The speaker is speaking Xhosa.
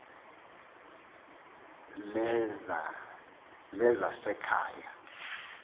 lezasekhaya